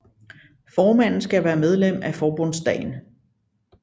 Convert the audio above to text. Formanden skal være medlem af Forbundsdagen